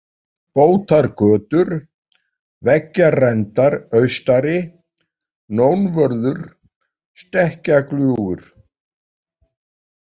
Bótargötur, Veggjarendar austari, Nónvörður, Stekkjagljúfur